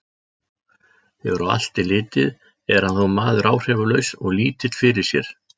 Þegar á allt er litið, er hann þó maður áhrifalaus og lítill fyrir sér.